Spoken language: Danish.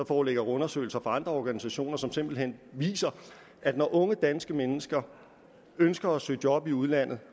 foreligger undersøgelser fra andre organisationer som simpelt hen viser at når unge danske mennesker ønsker at søge job i udlandet